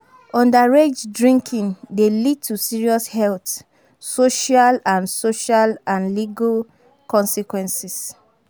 Underage drinking dey lead to serious health, social and social and legal consequences.